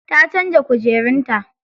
Ta canza kujerun ta.